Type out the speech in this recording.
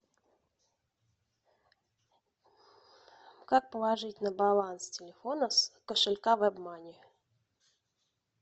как положить на баланс телефона с кошелька вебмани